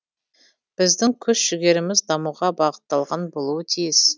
біздің күш жігеріміз дамуға бағытталған болуы тиіс